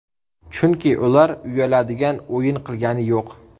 Chunki ular uyaladigan o‘yin qilgani yo‘q.